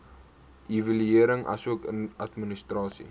evaluering asook administrasie